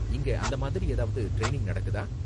இங்க அந்த மாதிரி ஏதாவது ட்ரைனிங் நடக்குதா?